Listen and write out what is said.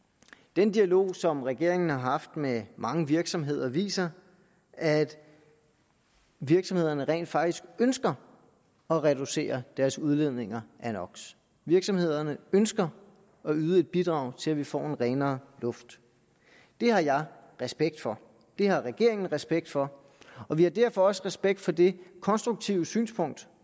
den dialog som regeringen har haft med mange virksomheder viser at virksomhederne rent faktisk ønsker at reducere deres udledninger af no virksomhederne ønsker at yde et bidrag til at vi får en renere luft det har jeg respekt for det har regeringen respekt for og vi har derfor også respekt for det konstruktive synspunkt